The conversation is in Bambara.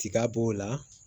Tiga b'o la